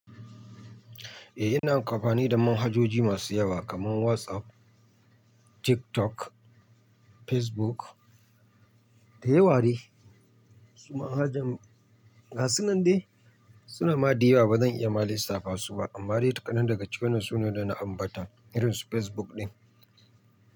Eh, ina amfani da manhajoji masu yawa kamar WhatsApp, TikTok, Facebook da yawa de. Su manhajan, ga su nan dai suna made yawa ba zan iya ma lisafa su ba amma dai tsakanin daga cikin su ne da na ambata irin su Facebook ɗin.